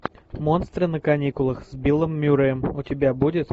монстры на каникулах с биллом мюрреем у тебя будет